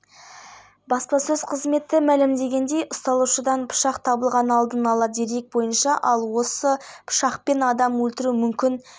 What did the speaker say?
ауыл шаруашылығы тауарларының жәрмеңкесінде ет өнімдерінің тоннасы макарон өнімдерінің тоннасы балдың тоннасы сүт өнімдерінің тоннасы картоп пен басқа да көкөністердің тоннасы